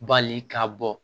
Bali ka bɔ